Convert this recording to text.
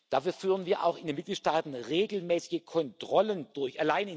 Dafür führen wir auch in den Mitgliedstaaten regelmäßige Kontrollen durch.